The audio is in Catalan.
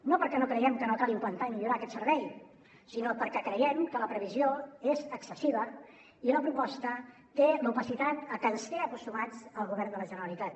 no perquè no creiem que no cal implantar i millorar aquest servei sinó perquè creiem que la previsió és excessiva i la proposta té l’opacitat a què ens té acostumats el govern de la generalitat